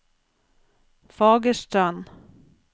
Fagerstrand